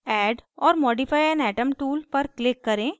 add or modify an atom tool पर click करें